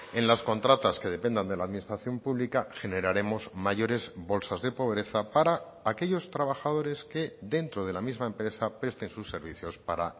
en las contratas que dependan de la administración pública generaremos mayores bolsas de pobreza para aquellos trabajadores que dentro de la misma empresa presten sus servicios para